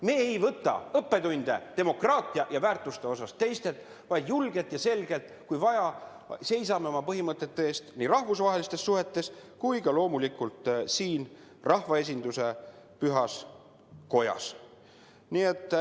Me ei võta demokraatia ja väärtuste osas õppetunde teistelt, vaid kui vaja, seisame julgelt ja selgelt oma põhimõtete eest nii rahvusvahelistes suhetes kui ka loomulikult siin, rahvaesinduse pühas kojas.